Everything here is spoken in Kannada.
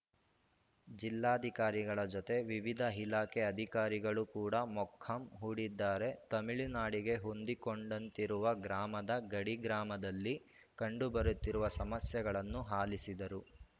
ಜಿಲ್ಲಾಧಿಕಾರಿಗಳ ಜತೆ ವಿವಿಧ ಇಲಾಖೆ ಅಧಿಕಾರಿಗಳು ಕೂಡ ಮೊಕ್ಕಾಂ ಹೂಡಿದ್ದಾರೆ ತಮಿಳುನಾಡಿಗೆ ಹೊಂದಿಕೊಂಡಂತಿರುವ ಗ್ರಾಮದ ಗಡಿ ಗ್ರಾಮದಲ್ಲಿ ಕಂಡು ಬರುತ್ತಿರುವ ಸಮಸ್ಯೆಗಳನ್ನು ಆಲಿಸಿದರು